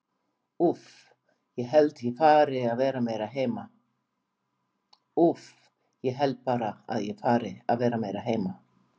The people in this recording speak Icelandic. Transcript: Úff, ég held bara að ég fari að vera meira heima.